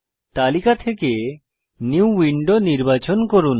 তালিকা থেকে new window নির্বাচন করুন